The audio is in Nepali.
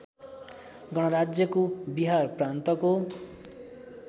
गणराज्यको बिहार प्रान्तको